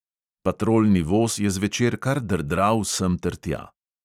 Patrolni voz je zvečer kar drdral semtertja.